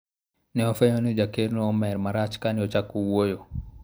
ne wafwenyo ni jakeno omer marach kane ochako wuoyo